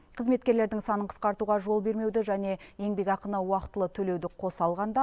қызметкерлердің санын қысқартуға жол бермеуді және еңбекақыны уақытылы төлеуді қоса алғанда